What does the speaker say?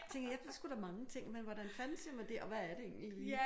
Tænker jeg ved sgu da mange ting men hvordan fanden siger man det og hvad er det egentlig lige